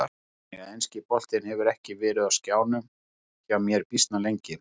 Þannig að enski boltinn hefur ekki verið á skjánum hjá mér býsna lengi.